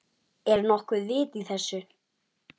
Er nokkuð vit í þessu?